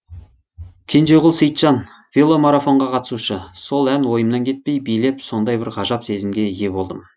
кенжеғұл сейітжан веломарафонға қатысушы сол ән ойымнан кетпей билеп сондай бір ғажап сезімге ие болдым